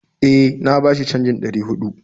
E, na bashi canjin ɗari huɗu